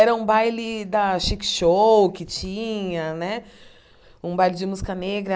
Era um baile da Chic Show que tinha né, um baile de música negra.